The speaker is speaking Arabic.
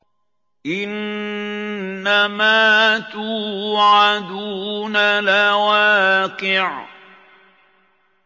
إِنَّمَا تُوعَدُونَ لَوَاقِعٌ